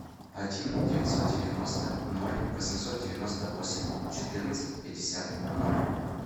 один девятьсот девяносто ноль восемьсот девяносто восемь четырнадцать пятьдесят ноль